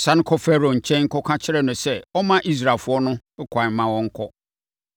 “Sane kɔ Farao nkyɛn kɔka kyerɛ no sɛ ɔmma Israelfoɔ no ɛkwan na wɔnkɔ.”